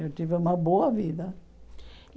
Eu tive uma boa vida.